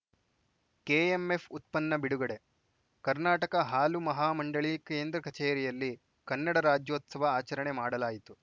KMF ಉತ್ಪನ್ನ ಬಿಡುಗಡೆ ಕರ್ನಾಟಕ ಹಾಲು ಮಹಾ ಮಂಡಳಿ ಕೇಂದ್ರ ಕಚೇರಿಯಲ್ಲಿ ಕನ್ನಡ ರಾಜ್ಯೋತ್ಸವ ಆಚರಣೆ ಮಾಡಲಾಯಿತು